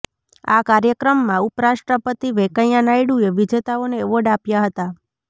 આ કાર્યક્રમમાં ઉપરાષ્ટ્રપતિ વેંકૈયા નાયડુએ વિજેતાઓને એવોર્ડ આપ્યા હતા